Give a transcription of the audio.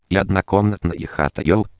однокомнатные хата